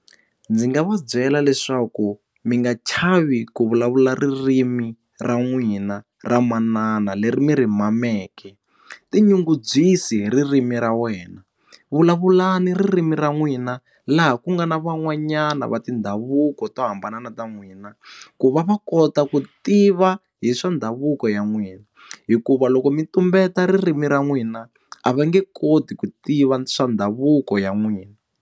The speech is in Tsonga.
Ndzi nga va byela leswaku mi nga chavi ku vulavula ririmi ra n'wina ra manana leri mi ri mameke tinyungubyisi hi ririmi ra wena vulavula ni ririmi ra n'wina laha ku nga na van'wanyana va tindhavuko to hambana na ta n'wina ku va va kota ku tiva hi swa ndhavuko ya n'wina hikuva loko mi tumbeta ririmi ra n'wina a va nge koti ku tiva swa ndhavuko ya n'wina